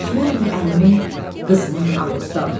Çəkmərəm əlimi qızmar alovdan.